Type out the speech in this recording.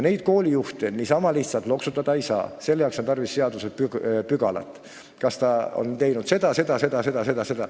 Koolijuhte niisama lihtsalt loksutada ei tohi, selle jaoks on tarvis seadusepügalat: kas ta on teinud, seda, seda, seda ja seda.